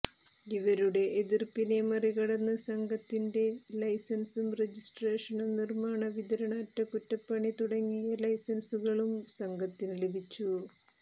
ഇവരുടെ എതിര്പ്പിനെ മറികടന്ന് സംഘത്തിന്റെ ലൈസന്സും രജിസ്ട്രേഷനും നിര്മ്മാണ വിതരണ അറ്റകുറ്റപ്പണി തുടങ്ങിയ ലൈസന്സുകളും സംഘത്തിന് ലഭിച്ചു